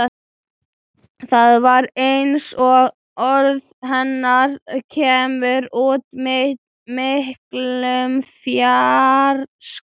Það var eins og orð hennar kæmu úr miklum fjarska.